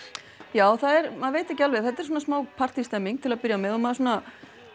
já maður veit ekki alveg þetta er svona smá til að byrja með og maður svona